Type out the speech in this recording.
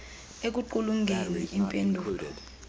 ekuqulunqeni im pendulo